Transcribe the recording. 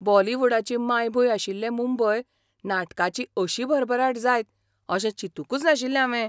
बॉलिवूडाची मायभूंय आशिल्ले मुंबय नाटकाची अशी भरभराट जायत अशें चिंतूंकच नाशिल्लें हावें.